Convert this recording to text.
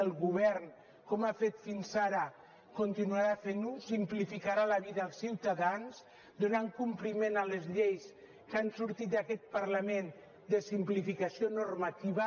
el govern com ha fet fins ara continuarà fent ho simplificarà la vida als ciutadans donant compliment a les lleis que han sortit d’aquest parlament de simplificació normativa